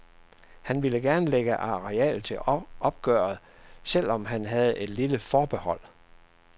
Han ville gerne lægge areal til opgøret, selv om han havde et lille forbehold.